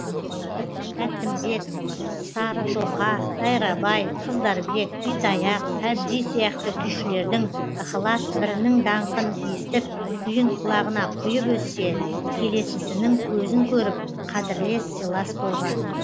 тәттімбет сары тоқа дайрабай қыздарбек итаяқ әбди сияқты күйшілердің ықылас бірінің даңқын естіп күйін құлағына құйып өссе келесісінің көзін көріп қадірлес сыйлас болған